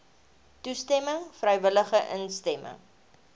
toestemming vrywillige instemming